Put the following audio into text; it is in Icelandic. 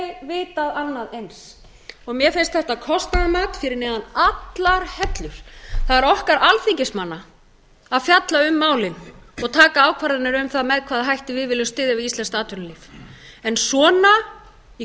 vitað annað eins og mér finnst þetta kostnaðarmat fyrir neðan allar hellur það er okkar alþingismanna að fjalla um málið og taka ákvarðanir um það með hvaða hætti við viljum styðja við íslenskt atvinnulíf en svona í